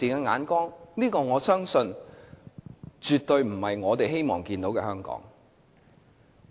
我相信這絕對不是我們希望看到的香港。